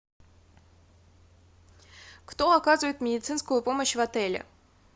кто оказывает медицинскую помощь в отеле